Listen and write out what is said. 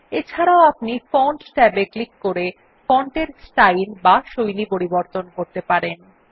এছাড়াও আপনি font tab এ ক্লিক করে ফন্টের স্টাইল বা শৈলী পরিবর্তন করতে পারেন